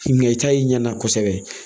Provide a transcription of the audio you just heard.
Nka i ta ye ɲɛnama kosɛbɛ